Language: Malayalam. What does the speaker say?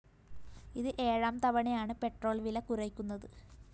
ഇത് ഏഴാം തവണയാണ് പെട്രോൾ വില കുറയ്ക്കുന്നത്